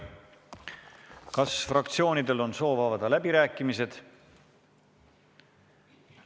Kas fraktsioonidel on soov avada läbirääkimised?